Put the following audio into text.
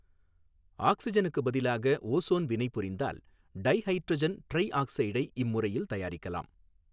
ஆக்ஸிஜனுக்கு பதிலாக ஓசோன் வினைபுரிந்தால் டைஹைட்ரஜன் ட்ரைஆக்சைடை இம்முறையில் தயாரிக்கலாம்.